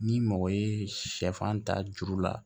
Ni mɔgɔ ye sɛfan ta juru la